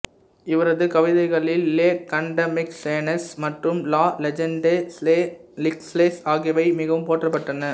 இவரது கவிதைகளில் Les Contemplations மற்றும் லா லெஜன்டே லே சீக்ளெஸ் ஆகியவை மிகவும் போற்றப்பட்டன